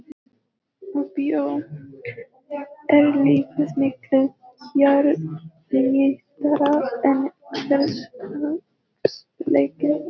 Á bíó er lífið miklu kjarnyrtara en hversdagsleikinn.